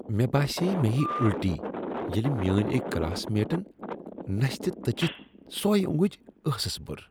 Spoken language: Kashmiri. مےٚ باسیے مےٚ یی اُلٹی ییلِہ میٲنۍ أکۍ کلاس میٹن نستِہ تٔچِتھ سۄے اۄنگٕج ٲسس بٔر۔